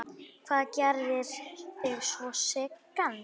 Hvað gerir þig svona seigan?